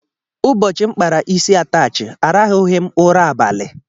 ụbọchị m kpara isi atachi arahughi m ụra abalị.